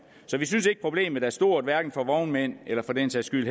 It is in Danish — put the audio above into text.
så vi synes ikke problemet er stort hverken for vognmænd eller for den sags skyld